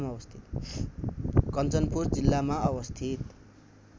कञ्चनपुर जिल्लामा अवस्थित